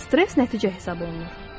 Stress nəticə hesab olunur.